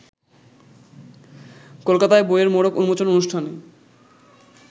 কলকাতায় বইয়ের মোড়ক উন্মোচন অনুষ্ঠানে